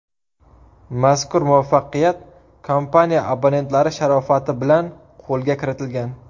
Mazkur muvaffaqiyat kompaniya abonentlari sharofati bilan qo‘lga kiritilgan.